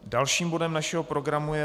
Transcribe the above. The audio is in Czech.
Dalším bodem našeho programu je